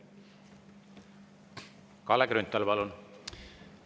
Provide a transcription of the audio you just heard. Kalle Grünthal, palun!